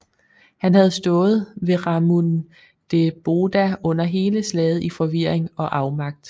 Han havde stået ved Ramundeboda under hele slaget i forvirring og afmagt